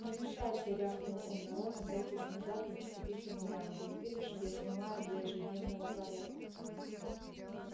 не мешайся рявкнул он на рона пятясь назад и наступив ему на ногу не видишь я снимаю для ежедневного пророка